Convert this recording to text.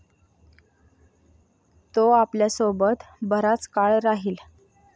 तो आपल्यासोबत बराच काळ राहील.